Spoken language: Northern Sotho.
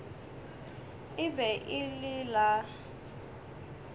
e be e le la